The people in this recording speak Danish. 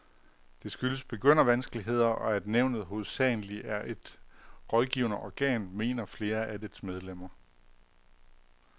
Det skyldes begyndervanskeligheder, og at nævnet hovedsageligt er et rådgivende organ, mener flere af dets medlemmer.